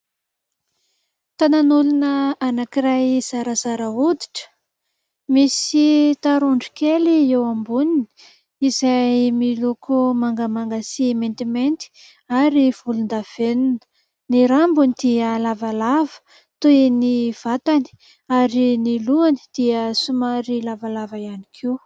Tanan'olona anankiray zarazara hoditra, misy tarondro kely eo amboniny, izay miloko mangamanga sy maintimainty ary volondavenona. Ny rambony dia lavalava toy ny vatany ary ny lohany dia somary lavalava ihany koa.